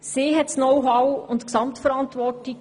Diese hat das Know-how und trägt die Gesamtverantwortung.